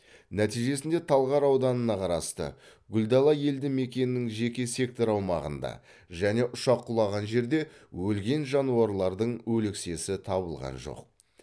нәтижесінде талғар ауданына қарасты гүлдана елді мекенінің жеке сектор аумағында және ұшақ құлаған жерде өлген жануарлардың өлексесі табылған жоқ